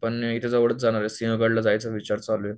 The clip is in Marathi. पण इथे जवळच जाणारे, सिंहगड ला जायचा विचार चालूये